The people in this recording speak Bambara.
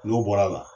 N'o bɔra a la